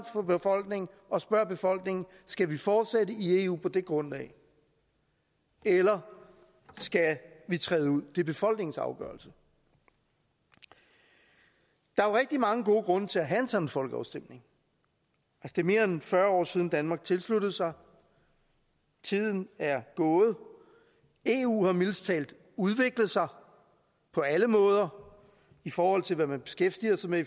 for befolkningen og spørg befolkningen skal vi fortsætte i eu på det grundlag eller skal vi træde ud det er befolkningens afgørelse der er jo rigtig mange gode grunde til at have en sådan folkeafstemning det er mere end fyrre år siden danmark tilsluttede sig tiden er gået eu har mildest talt udviklet sig på alle måder i forhold til hvad man beskæftiger sig med